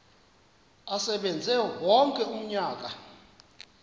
asebenze wonke umnyaka